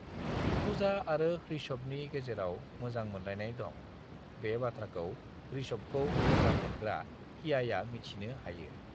"पूजा आरो ऋषभनि गेजेराव मोजां मोनलायनाय दं, बे बाथ्राखौ ऋषभखौ मोजां मोनग्रा कियाया मिथिनो हायो।"